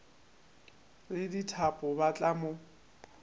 le dithapo ba tla mo